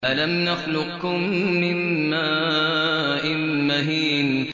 أَلَمْ نَخْلُقكُّم مِّن مَّاءٍ مَّهِينٍ